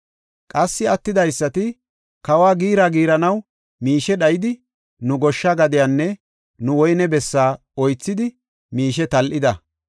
Qassi attidaysati, “Kawo giira giiranaw miishe dhayidi nu goshsha gadiyanne nu woyne bessaa oythidi miishe tal7ida.